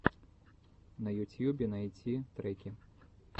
на ютьюбе найти треки